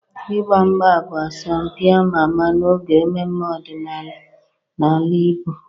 Ịgba mgba bụ asọmpi ama ama n'oge mmemme ọdịnala n'ala Igbo.